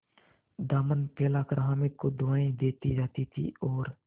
दामन फैलाकर हामिद को दुआएँ देती जाती थी और